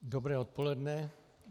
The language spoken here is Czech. Dobré odpoledne.